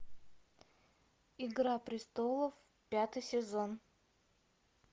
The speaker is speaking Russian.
игра престолов пятый сезон